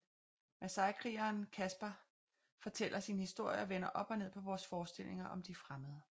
Masaikrigeren Gaspar fortæller sin historie og vender op og ned på vores forestillinger om de fremmede